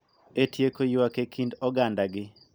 E tieko ywak e kind ogandagi